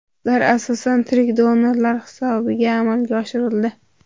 Ular asosan tirik donorlar hisobiga amalga oshirildi.